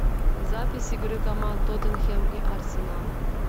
запись игры команд тоттенхэм и арсенал